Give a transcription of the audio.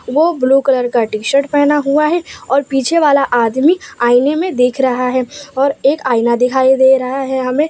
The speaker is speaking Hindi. वो ब्लू कलर का टी शर्ट पहना हुआ है और पीछे वाला आदमी आईने में देख रहा है और एक आईना दिखाई दे रहा है हमें।